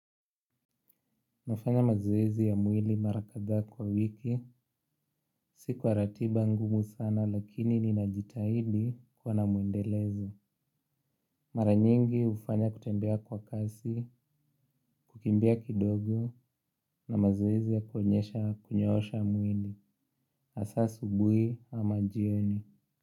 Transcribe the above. Nafanya mazoezi ya mwili mara kadhaa kwa wiki, si kwa ratiba ngumu sana lakini ninajitahidi kuwa na mwendelezo. Mara nyingi ufanya kutembea kwa kasi, kukimbia kidogo na mazoezi ya kuonyesha kunyoosha mwili. Hasa asubuhi ama jioni.